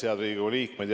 Head Riigikogu liikmed!